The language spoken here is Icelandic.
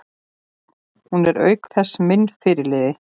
Hún er auk þess minn fyrirliði.